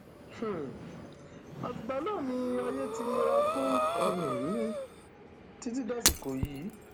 um àtìgbà náà ni ayé ti nira fún um mi títí dàsìkò yìí